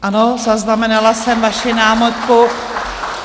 Ano, zaznamenala jsem vaši námitku.